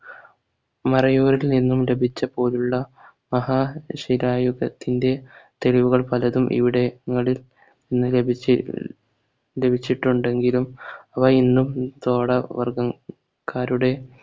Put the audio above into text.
മറയൂരിൽ നിന്നും ലഭിച്ച പോലുള്ള മഹാശിലായുഗത്തിന്റെ തെരുവുകൾ പലതും ഇവിടെങ്ങളിൽന്ന് ലഭിച്ചി ലഭിച്ചിട്ടുണ്ടെങ്കിലും അവ ഇന്നും തോട വർഗ്ഗക്കാരുടെ